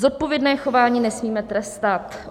Zodpovědné chování nesmíme trestat.